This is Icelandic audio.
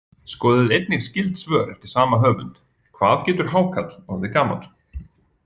Skoðið einnig skyld svör eftir sama höfund: Hvað getur hákarl orðið gamall?